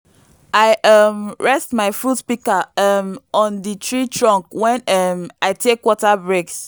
i um rest my fruit pika um on di treetrunk wen um i tek water breaks